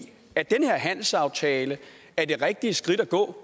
at den her handelsaftale er det rigtige skridt at gå